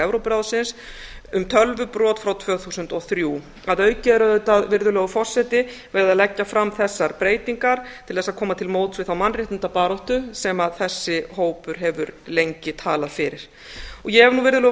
evrópuráðsins um tölvubrot frá tvö þúsund og þrjú virðulegur forseti að auki er auðvitað verið að leggja fram þessar breytingar til þess að koma til móts við þá mannréttindabaráttu sem þessi hópur hefur lengi talað fyrir virðulegur forseti ég hef